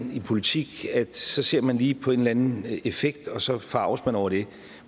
i politik at så ser man lige på en eller anden effekt og så forarges man over det